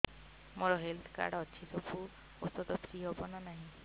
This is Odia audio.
ମୋର ହେଲ୍ଥ କାର୍ଡ ଅଛି ସବୁ ଔଷଧ ଫ୍ରି ହବ ନା ନାହିଁ